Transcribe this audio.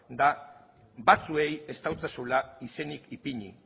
da batzuei ez diezuela izenik ipini